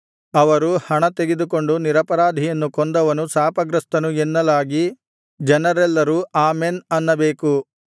ಅವರು ಹಣ ತೆಗೆದುಕೊಂಡು ನಿರಪರಾಧಿಯನ್ನು ಕೊಂದವನು ಶಾಪಗ್ರಸ್ತನು ಎನ್ನಲಾಗಿ ಜನರೆಲ್ಲರೂ ಆಮೆನ್ ಅನ್ನಬೇಕು